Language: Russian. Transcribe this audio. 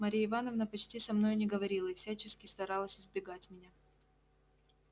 марья ивановна почти со мною не говорила и всячески старалась избегать меня